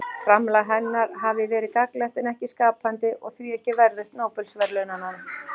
Framlag hennar hafi verið gagnlegt en ekki skapandi og því ekki verðugt Nóbelsverðlaunanna.